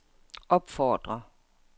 opfordrer